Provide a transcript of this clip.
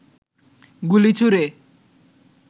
গুলি ছুঁড়ে